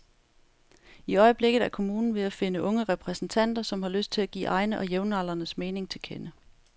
I øjeblikket er kommunen ved at finde unge repræsentanter, som har lyst til at give egne og jævnaldrendes mening til kende.